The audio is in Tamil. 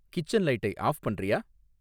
கிச்சன் லைட்டை ஆஃப் பண்றியா?